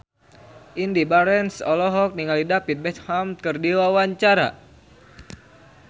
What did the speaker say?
Indy Barens olohok ningali David Beckham keur diwawancara